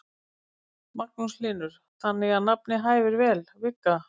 Magnús Hlynur: Þannig að nafnið hæfir vel, Vigga?